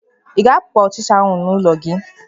Ị ga-ahapụ ọchịcha ahụ n'ụlọ gị?